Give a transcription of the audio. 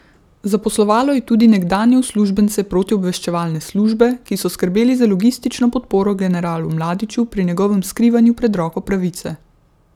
Zaposlovalo je tudi nekdanje uslužbence protiobveščevalne službe, ki so skrbeli za logistično podporo generalu Mladiću pri njegovem skrivanju pred roko pravice.